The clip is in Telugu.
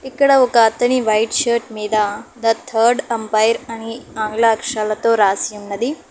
ఇక్కడ ఒక అతని వైట్ షర్ట్ మీద థ థర్డ్ అంపైర్ అని ఆంగ్ల అక్షరాలతో రాసి ఉన్నది.